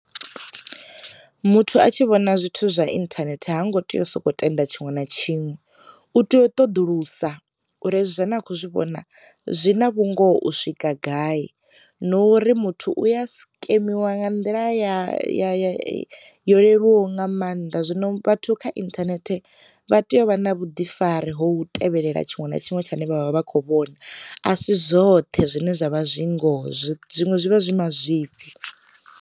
Muthu a tshi vhona zwithu zwa inthanethe ha ngo tea u soko tenda tshiṅwe na tshiṅwe, u tea u ṱoḓulusa uri hezwi zwa a ne a khou zwi vhona zwi na vhungoho u swika gai, no uri muthu u ya skemiwa nga nḓila ya ya yo leluwaho nga mannḓa. Zwino vhathu kha inthanethe vha tea u vha na vhu ḓifari ho tevhelela tshiṅwe na tshiṅwe tshine vhavha vha kho vhona, a si zwoṱhe zwine zwavha zwi ngoho zwiṅwe zwivha zwi mazwifhi.